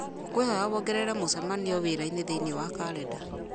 ngũkwĩhoya wongerere mũcemanio wĩra-inĩ thĩinĩ wa karenda